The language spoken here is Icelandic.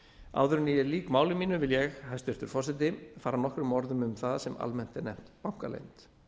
áður en ég lýk máli mínu vil ég hæstvirtur forseti fara nokkrum orðum um það sem almennt er nefnt bankaleynd